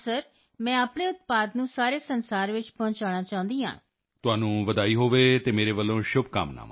yes sir ਹਾਂ sir ਮੈਂ ਆਪਣੇ ਉਤਪਾਦ ਨੂੰ ਸਾਰੇ ਸੰਸਾਰ ਵਿੱਚ ਪਹੁੰਚਾਉਣਾ ਚਾਹੁੰਦੀ ਹਾਂ yes sir I want to reach my product all over the globe of all world